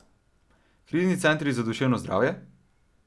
Krizni centri za duševno zdravje?